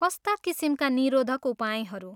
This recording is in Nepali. कस्ता किसिमका निरोधक उपायहरू?